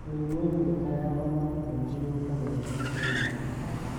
Mĩrimũ ĩmwe ta yahahoma kaingĩ yũkaga rĩrĩa kwĩna heho.